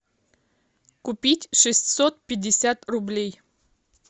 купить шестьсот пятьдесят рублей